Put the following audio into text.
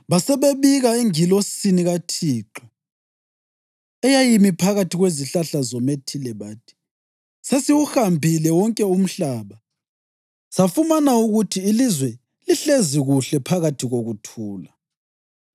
Basebebika engilosini kaThixo eyayimi phakathi kwezihlahla zomethile bathi, “Sesiwuhambile wonke umhlaba safumana ukuthi ilizwe lihlezi kuhle phakathi kokuthula.”